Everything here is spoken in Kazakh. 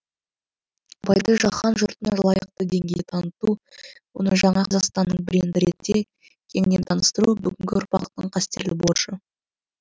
абайды жаһан жұртына лайықты деңгейде таныту оны жаңа қазақстанның бренді ретінде кеңінен таныстыру бүгінгі ұрпақтың қастерлі борышы